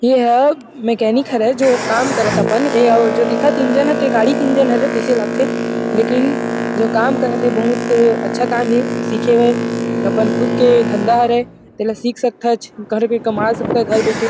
एह मेकेनिक हरे जो काम करथ अपन ए जो दिखत इंजन तेहा गाड़ी के इंजन हरे तैसे लगथे लेकिन जो काम करत हे बहुत अच्छा काम हरे सिखे बर अपन खुद के धंधा हरे तेला सिख सकथच घर में कमा सकथच घर बैठे --